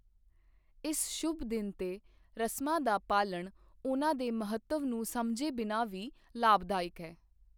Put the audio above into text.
ਇਸ ਸ਼ੁਭ ਦਿਨ 'ਤੇ ਰਸਮਾਂ ਦਾ ਪਾਲਣ, ਉਨ੍ਹਾਂ ਦੇ ਮਹੱਤਵ ਨੂੰ ਸਮਝੇ ਬਿਨਾ ਵੀ ਲਾਭਦਾਇਕ ਹੈ।